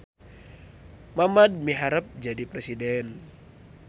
Mamad miharep jadi presiden